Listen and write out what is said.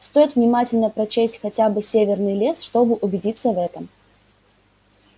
стоит внимательно прочесть хотя бы северный лес чтобы убедиться в этом